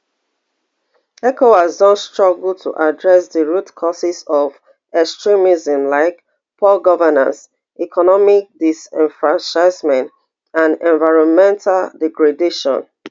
ecowas don struggle to address di root causes of extremism like poor governance economic disenfranchisement and environmental degradation